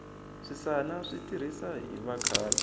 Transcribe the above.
swisani swi tirhisa hi vakhale